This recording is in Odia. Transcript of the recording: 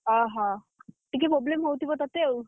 ଅହ! ଟିକେ problem ହଉଥିବ ତତେ ଆଉ?